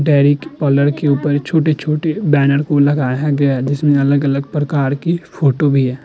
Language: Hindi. लड़की ऊपर छोटे छोटे बैनर को लगाया गया है। जिसमे अलग-अलग प्रकार की फोटो भी है।